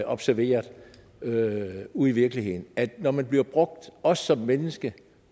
observeret ude ude i virkeligheden at når man bliver brugt også som menneske